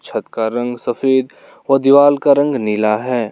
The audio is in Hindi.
छत का रंग सफेद और दीवाल का रंग नीला है।